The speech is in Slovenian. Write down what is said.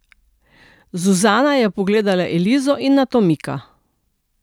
Zuzana je pogledala Elizo in nato Mika.